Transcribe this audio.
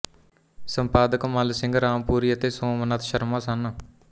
ਸੰਪਾਦਕ ਮੱਲ ਸਿੰਘ ਰਾਮਪੁਰੀ ਅਤੇ ਸੋਮਨਾਥ ਸ਼ਰਮਾ ਸਨ